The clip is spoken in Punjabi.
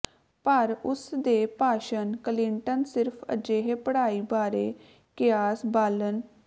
ਪਰ ਉਸ ਦੇ ਭਾਸ਼ਣ ਕਲਿੰਟਨ ਸਿਰਫ਼ ਅਜਿਹੇ ਪੜ੍ਹਾਈ ਬਾਰੇ ਕਿਆਸ ਬਾਲਣ